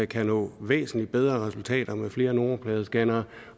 kan nå væsentlig bedre resultater med flere nummerpladescannere